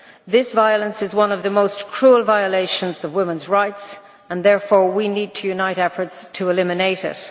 This violence is one of the most cruel violations of women's rights and therefore we need to unite efforts to eliminate it.